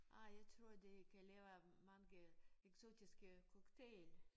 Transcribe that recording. Ej jeg tror de kan lave mange eksotiske cocktail